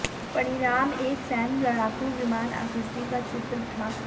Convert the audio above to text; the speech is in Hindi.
परिणाम एक सैन्य लड़ाकू विमान आकृति का चित्र था